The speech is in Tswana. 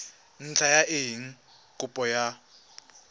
ntlha ya eng kopo ya